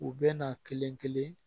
U bɛ na kelen kelen